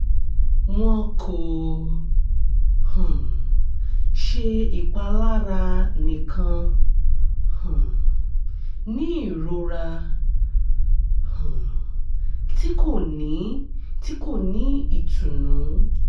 wọn ko um ṣe ipalara nikan um ni irora um ti ko ni ti ko ni itunu